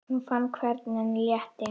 Hún fann hvernig henni létti.